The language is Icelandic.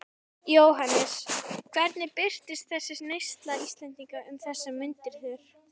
Jóhannes: Hvernig birtist þessi neysla Íslendinga um þessar mundir þér?